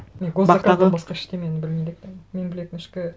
мен гос заказдан басқа ештеңені білмейді екенмін мен білетін ішкі